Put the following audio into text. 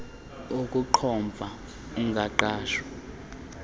ukuqhomfa ungakhange uhlawule